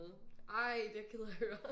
Ej det er jeg ked af at høre